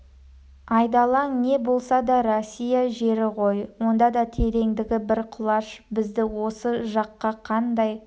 айдалаң не бұл да россия жері ғой онда да тереңдігі бір құлаш бізді осы жаққа қандай